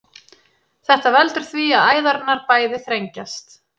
þetta veldur því að æðarnar bæði þrengjast